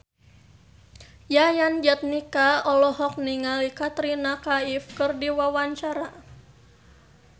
Yayan Jatnika olohok ningali Katrina Kaif keur diwawancara